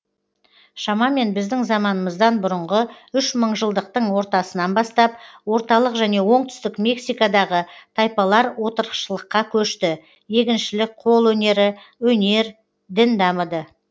шамамен біздің заманымыздан бұрынғы үш мыңжылдықтың ортасынан бастап орталық және оңтүстік мексикадағы тайпалар отырықшылыққа көшті егіншілік қол өнері өнер дін дамыды